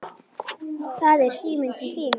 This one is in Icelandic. Það er síminn til þín.